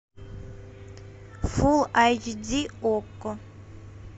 фул айч ди окко